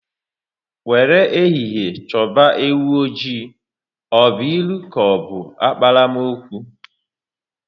"Were ehihie choba ewu oji, ọ bụ ilu ka ọ bụ akpalaokwu?